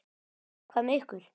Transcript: Hvað með ykkur?